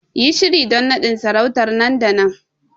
Yi shiri don nadin sarauta nan da nan!